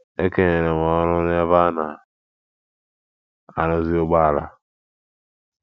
E kenyere m ọrụ n’ebe a na - arụzi ụgbọala.